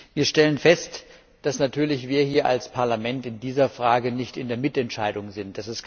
Wir stellen fest, dass natürlich wir als Parlament in dieser Frage nicht in der Mitentscheidung sind.